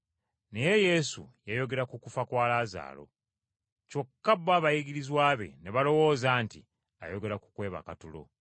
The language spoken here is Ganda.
Naye Yesu yayogera ku kufa kwa Laazaalo, kyokka bo abayigirizwa be ne balowooza nti ayogera ku kwebaka tulo.